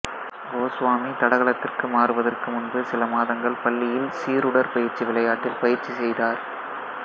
கோசுவாமி தடகளத்திற்கு மாறுவதற்கு முன்பு சில மாதங்கள் பள்ளியில் சீருடற்பயிற்சி விளையாட்டில் பயிற்சி செய்தார்